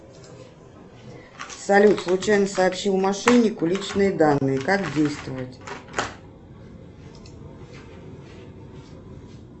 салют случайно сообщил мошеннику личные данные как действовать